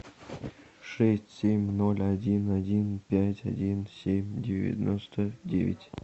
шесть семь ноль один один пять один семь девяносто девять